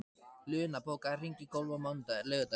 Luna, bókaðu hring í golf á laugardaginn.